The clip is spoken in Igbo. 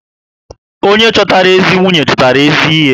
Onye chọtara ezi nwunye, chọtara ezi ihe